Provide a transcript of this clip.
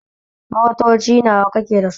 Motoci nawa kake da su?